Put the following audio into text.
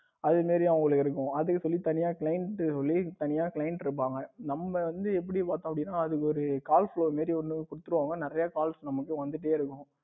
அது மாதிரி அவங்களுக்கு இருக்கும் அதுக்குன்னு சொல்லி தனியா client சொல்லி தனியா client இருப்பாங்க நம்ம வந்து எப்படி பார்த்தோம் அப்படின்னா அதுக்கு வந்து calls மாரி ஒன்னு கொடுத்துடுவாங்க நிறைய calls வந்துகிட்டே இருக்கும்.